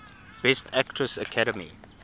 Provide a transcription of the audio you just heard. best actress academy